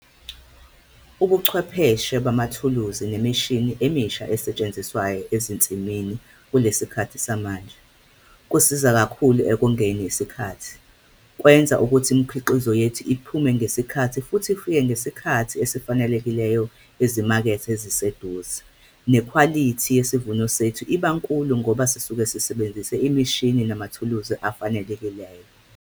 Ubuchwepheshe bamathuluzi nemishini emisha esetshenziswayo ezinsimini kule sikhathi samanje, kusiza kakhulu ekongeni isikhathi. Kwenza ukuthi imikhiqizo yethu iphume ngesikhathi futhi ifike ngesikhathi esifanelekileyo ezimakethe eziseduze, nekhwalithi yesivuno sethu iba nkulu ngoba sisuke sisebenzise imishini namathuluzi afanelekileleyo.